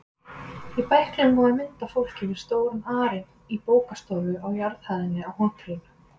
Í bæklingnum var mynd af fólki við stóran arin í bókastofu á jarðhæðinni á hótelinu.